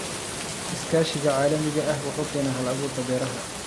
Iskaashiga caalamiga ah wuxuu keenaa hal-abuurka beeraha.